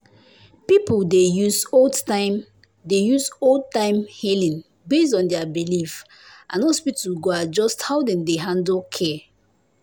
people dey use old-time dey use old-time healing based on their belief and hospital go adjust how dem dey handle care.